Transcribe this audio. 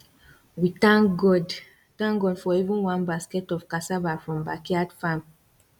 we thank god thank god for even one basket of cassava from backyard farm